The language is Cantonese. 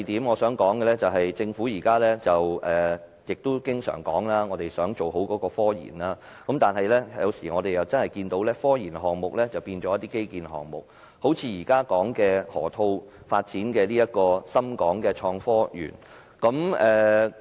我想說的第二點是，政府現時經常提出要做好科研，但我們卻看到科研項目有時候變成了基建項目，例如現時提出在河套地區發展的創科園。